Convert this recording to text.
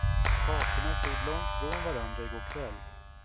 Parterna stod långt från varandra i går kväll.